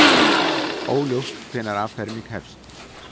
Óljóst hvenær afferming hefst